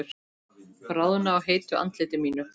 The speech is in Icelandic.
Bráðna á heitu andliti mínu.